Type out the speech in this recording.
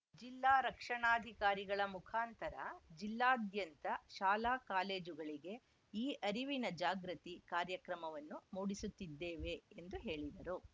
ಜಿಲ್ಲಾ ರಕ್ಷಣಾಧಿಕಾರಿಗಳ ಮುಖಾಂತರ ಜಿಲ್ಲಾದ್ಯಂತ ಶಾಲಾ ಕಾಲೇಜುಗಳಿಗೆ ಈ ಅರಿವಿನ ಜಾಗೃತಿ ಕಾರ್ಯಕ್ರಮವನ್ನು ಮೂಡಿಸುತ್ತಿದ್ದೇವೆ ಎಂದು ಹೇಳಿದ್ರು